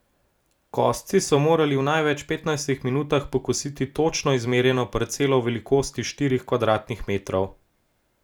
Kosci so morali v največ petnajstih minutah pokositi točno izmerjeno parcelo v velikosti štirih kvadratnih metrov.